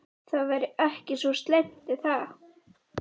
Það væri ekki svo slæmt er það?